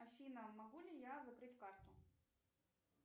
афина могу ли я закрыть карту